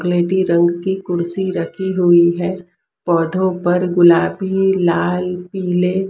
स्लेटी रंग की कुर्सी रखी हुई है पौधों पर गुलाबी लाल पीले--